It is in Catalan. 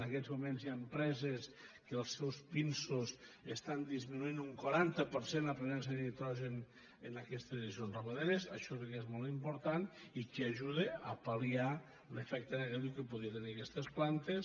en aquests moments hi ha empreses que els seus pinsos estan disminuint un quaranta per cent la presència de nitrogen en aquestes dejeccions ramaderes això sí que és molt important i que ajuden a pal·liar l’efecte negatiu que podrien tenir aquestes plantes